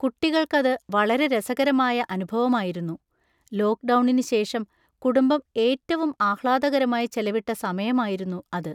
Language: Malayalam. കുട്ടികൾക്കത് വളരെ രസകരമായ അനുഭവമായിരുന്നു. ലോക്ക്ഡൗണിനുശേഷം കുടുംബം ഏറ്റവും ആഹ്‌ളാദകരമായി ചെലവിട്ട സമയമായിരുന്നു അത്.